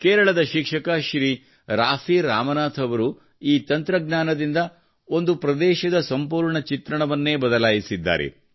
ಕೇರಳದ ಶಿಕ್ಷಕ ಶ್ರೀ ರಾಫಿ ರಾಮನಾಥ್ ಅವರು ಈ ತಂತ್ರಜ್ಞಾನದಿಂದ ಒಂದು ಪ್ರದೇಶದ ಸಂಪೂರ್ಣ ಚಿತ್ರಣವನ್ನೇ ಬದಲಾಯಿಸಿದ್ದಾರೆ